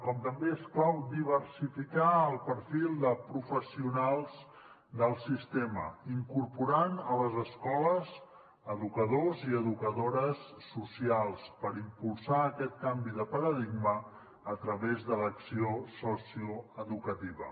com també és clau diversificar el perfil de professionals del sistema incorporant a les escoles educadors i educadores socials per impulsar aquest canvi de paradigma a través de l’acció socioeducativa